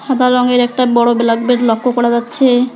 সাদা রঙের একটা বড় ব্ল্যাকবেড লক্ষ্য করা যাচ্ছে।